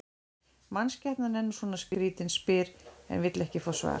Mannskepnan er nú svona skrýtin, spyr en vill ekki fá svar.